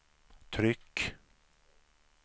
tryck